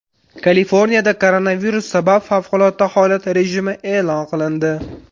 Kaliforniyada koronavirus sabab favqulodda holat rejimi e’lon qilindi .